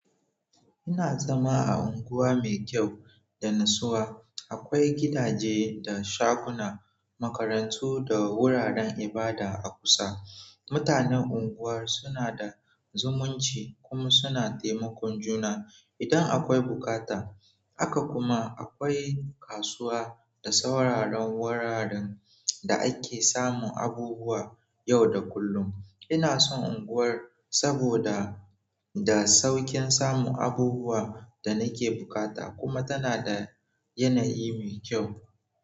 Ina zama a anguwa mai kyau da natsuwa. Akwai gidaje da shaguna, makarantu da wuraren ibada a kusa. Mutanen unguwar suna da zumunci kuma suna taimakon juna idan akwai bukata. Haka kuma akwai kasuwa da sauraron wuraren da ake samun abubuwa yau da kullum. Ina son unguwar saboda da saukin samun abubuwa da nake bukata kuma tana da yanayi mai kyau.